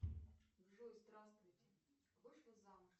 джой здравствуйте вышла замуж